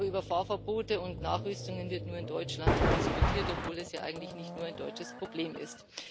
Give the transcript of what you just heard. Aber über Fahrverbote und Nachrüstungen wird nur in Deutschland diskutiert, obwohl es eigentlich nicht nur ein deutsches Problem ist.